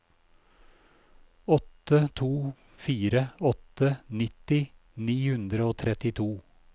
åtte to fire åtte nitti ni hundre og trettito